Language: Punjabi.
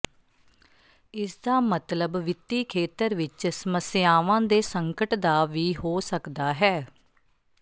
ਇਸਦਾ ਮਤਲਬ ਵਿੱਤੀ ਖੇਤਰ ਵਿੱਚ ਸਮੱਸਿਆਵਾਂ ਦੇ ਸੰਕਟ ਦਾ ਵੀ ਹੋ ਸਕਦਾ ਹੈ